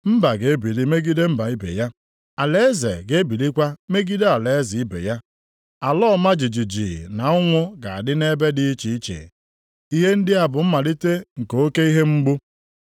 Mba ga-ebili megide mba ibe ya. Alaeze ga-ebilikwa megide alaeze ibe ya. Ala ọma jijiji na ụnwụ ga-adị nʼebe dị iche iche. Ihe ndị a bụ mmalite nke oke ihe mgbu.